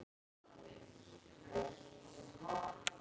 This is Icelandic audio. Hvað er nú, af hverju heyrist ekkert í honum?